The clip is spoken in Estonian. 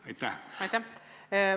Aitäh!